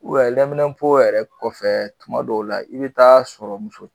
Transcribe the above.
lɛmunɛnpo yɛrɛ kɔfɛ tuma dɔw la i bɛ taa sɔrɔ muso